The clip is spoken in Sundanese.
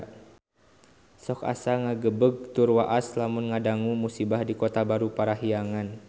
Sok asa ngagebeg tur waas lamun ngadangu musibah di Kota Baru Parahyangan